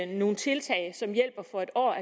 nogle tiltag som hjælper for en år